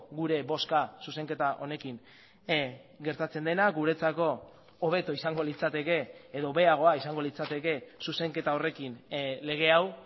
gure bozka zuzenketa honekin gertatzen dena guretzako hobeto izango litzateke edo hobeagoa izango litzateke zuzenketa horrekin lege hau